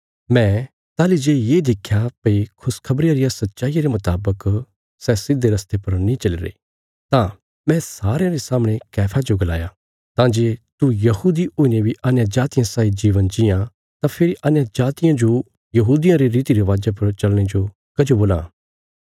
मैं ताहली जे ये देख्या भई खुशखबरिया रिया सच्चाईया रे मुतावक सै सिधे रस्ते पर नीं चलीरे तां मैं सारयां रे सामणे कैफा जो गलाया तां जे तू यहूदी हुईने बी अन्यजातियां साई जीवन जीआं तां फेरी अन्यजातियां जो यहूदियां रे रीतिरिवाजा पर चलने जो कजो बोलां